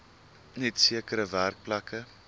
net sekere werkplekke